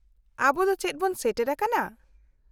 -ᱟᱵᱚ ᱫᱚ ᱪᱮᱫ ᱵᱚᱱ ᱥᱮᱴᱮᱨᱟᱠᱟᱱᱟ ?